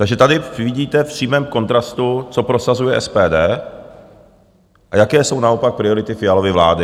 Takže tady vidíte v přímém kontrastu, co prosazuje SPD a jaké jsou naopak priority Fialovy vlády.